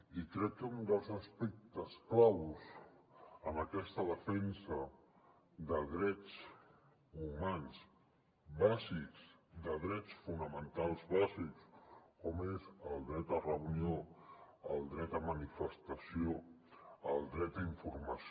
i crec que un dels aspectes claus en aquesta defensa de drets humans bàsics de drets fonamentals bàsics com són el dret a reunió el dret a manifestació el dret a informació